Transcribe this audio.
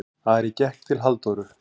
Ari gekk til Halldóru.